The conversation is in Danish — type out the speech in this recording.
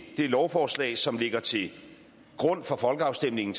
det lovforslag som ligger til grund for folkeafstemningen